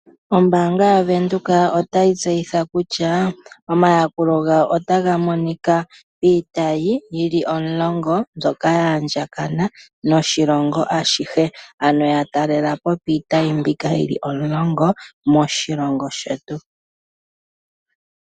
Ombaanga yaVenduka otayi tseyitha kutya omayakulo gawo otaga monika piitayi yili omulongo mbyoka ya andjakana noshilongo ashihe ,ano yatalelapo piitayi mbika yili omulongo moshilongo shetu.